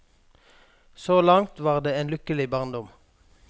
Så langt var det en lykkelig barndom.